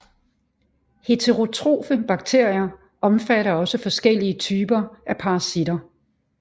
Heterotrofe bakterier omfatter også forskellige typer af parasitter